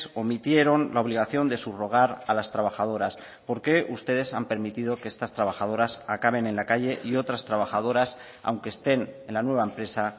omitieron la obligación de subrogar a las trabajadoras por qué ustedes han permitido que estas trabajadoras acaben en la calle y otras trabajadoras aunque estén en la nueva empresa